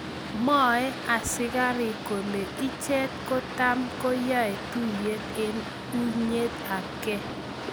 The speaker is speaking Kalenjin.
Mwoe asigarik kole ichet kot tam ko yae tuyet en unyet ap ke.